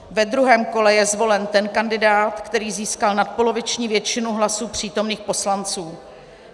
Ve druhém kole je zvolen ten kandidát, který získal nadpoloviční většinu hlasů přítomných poslanců.